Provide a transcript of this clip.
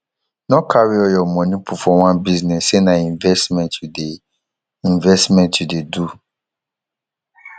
no carry all your money put for one business say na investment you dey investment you dey do